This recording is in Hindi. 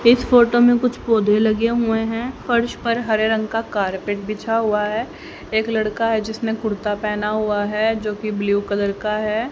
इस फोटो में कुछ पौधे लगे हुए हैं फर्श पर हरे रंग का कारपेट बिछा हुआ है एक लड़का है जिसने कुर्ता पहना हुआ है जो की ब्लू कलर का है।